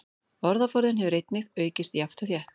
Orðaforðinn hefur einnig aukist jafnt og þétt.